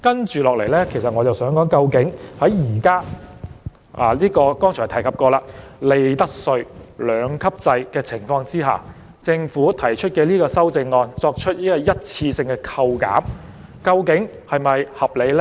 接下來，我想談談究竟在剛才所提及的利得稅兩級制的情況下，政府提出修正案作出一次性扣減，究竟是否合理呢。